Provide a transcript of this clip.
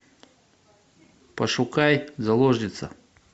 пошукай заложница